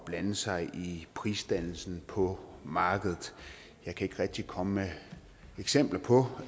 blande sig i prisdannelsen på markedet jeg kan ikke rigtig komme med eksempler på